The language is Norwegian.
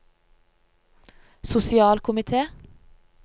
sosialkomite